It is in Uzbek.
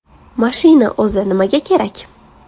Mashina o‘zi nimaga kerak?